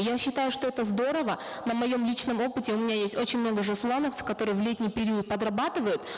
я считаю что это здорово на моем личном опыте у меня есть очень много жасулановцев которые в летний период подрабатывают